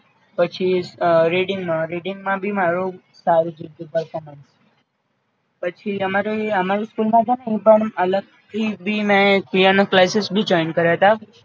પછી રીડિંગ માં રીડિંગ માં ભી મારુ સારું જ રયુ તુ performance પછી અમારે અમારી school છે ને એ પણ અલગ થી ભી મે પિઆનો ક્લાસીસ ભી join કર્યાતા